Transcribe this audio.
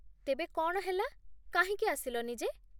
ତେବେ କ'ଣ ହେଲା, କାହିଁକି ଆସିଲନି ଯେ ?